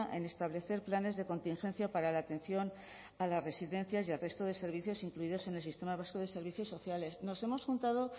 en establecer planes de contingencia para la atención a las residencias y al resto de servicios incluidos en el sistema vasco de servicios sociales nos hemos juntado